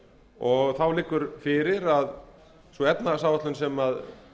og þá liggur fyrir að sú efnahagsáætlun sem